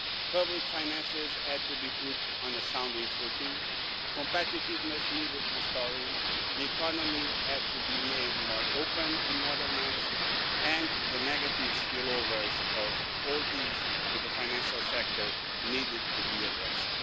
Public finances had to be put on a sound footing, competitiveness needed restoring, the economy had to be made more open and modernised and the negative spill-overs of all this to the financial sector needed to be addressed.